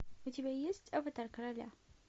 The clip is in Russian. у тебя есть аватар короля